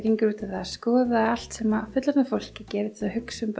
að skoða allt sem fullorðna fólkið gerir til að hugsa um